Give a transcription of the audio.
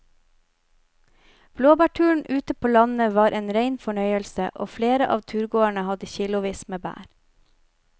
Blåbærturen ute på landet var en rein fornøyelse og flere av turgåerene hadde kilosvis med bær.